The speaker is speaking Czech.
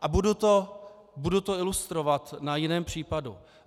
A budu to ilustrovat na jiném případu.